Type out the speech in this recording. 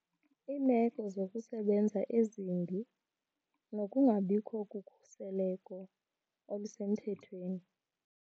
Iimeko zokusebenza ezimbi nokungabikho kokhuseleko olusemthethweni.